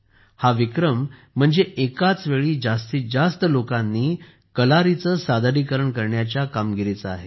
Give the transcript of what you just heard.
हा विक्रम म्हणजे एकाच वेळी जास्तीत जास्त लोकांनी कलारीचे सादरीकरण करण्याच्या कामगिरीचा आहे